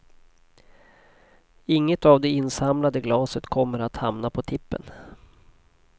Inget av det insamlade glaset kommer att hamna på tippen.